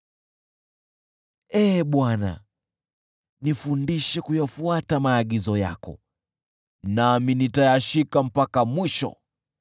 Ee Bwana , nifundishe kuyafuata maagizo yako, nami nitayashika mpaka mwisho.